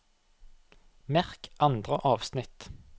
Merk andre avsnitt